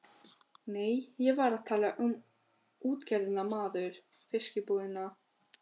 Nei, ég var að tala um útgerðina maður, fiskbúðina.